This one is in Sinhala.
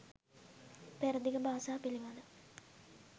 පෙරදිග භාෂා පිළිබඳ